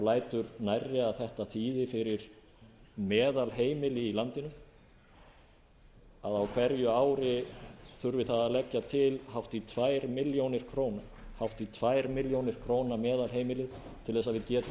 lætur nærri að þetta þýði fyrir meðalheimili í landinu að á hverju ári þurfi það að leggja til hátt í tvær milljónir króna meðalheimili til að við getum í sameiningu náð að